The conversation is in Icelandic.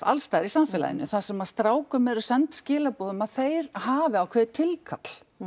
allsstaðar í samfélaginu þar sem að strákum eru send skilaboð um að þeir hafi ákveðið tilkall